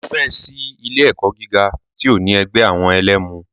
Kò fẹ́ ẹ̀ sí ilé ẹ̀kọ́ gíga tí ò ní ẹgbẹ́ àwọn ẹlẹmu.